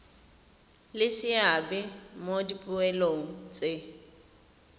le seabe mo dipoelong tse